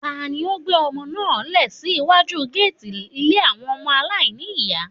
Tani ó gbé ọmọ náà lẹ̀ sí iwájú géètì ilé àwọn ọmọ aláìní ní ìyá.